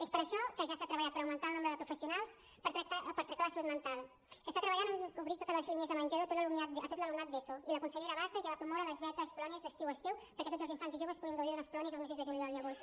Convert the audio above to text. és per això que ja s’ha treballat per augmentar el nombre de professionals per tractar la salut mental s’està treballant en cobrir totes les línies de menjador a tot l’alumnat d’eso i la consellera bassa ja va promoure les beques a les colònies de l’estiu és teu perquè tots els infants i joves puguin gaudir d’unes colònies els mesos de juliol i agost